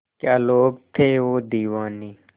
क्या लोग थे वो दीवाने